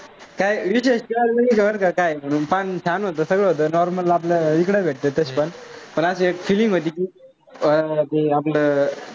काय विशेष काय नव्हतं, बर काय पान छान होतं, सगळं होतं normal आपलं इकडे भेटत तसं पण, पण अशी एक feeling होती की अं ते आपलं